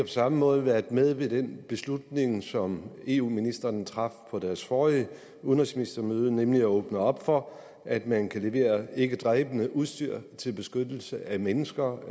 samme måde været med i den beslutning som eu ministrene traf på deres forrige udenrigsministermøde nemlig at åbne op for at man kan levere ikkedræbende udstyr til beskyttelse af mennesker